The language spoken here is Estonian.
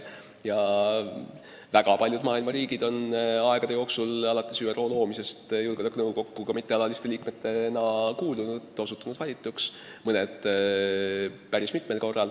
Väga paljud maailma riigid on aegade jooksul alates ÜRO loomisest julgeolekunõukokku ka mittealaliste liikmetena kuulunud, valituks osutunud, mõned päris mitmel korral.